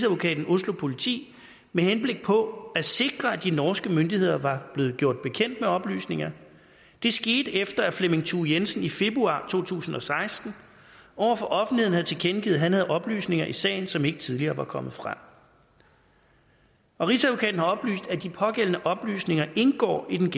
oslo politi med henblik på at sikre at de norske myndigheder var blevet gjort bekendt med oplysningerne det skete efter at flemming thue jensen i februar to tusind og seksten over for offentligheden havde tilkendegivet at han havde oplysninger i sagen som ikke tidligere var kommet frem og rigsadvokaten har oplyst at de pågældende oplysninger indgår i den